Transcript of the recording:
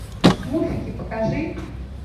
смурфики покажи